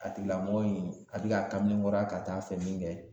A tigilamɔgɔ in a bi ka kamalenkɔrɔya ka taa fɛ min kɛ